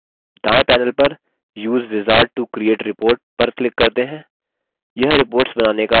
दायें panel पर use wizard to create report पर click करते हैं